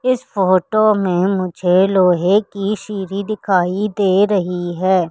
इस फोटो में मुझे लोहे की सीढ़ी दिखाई दे रही है।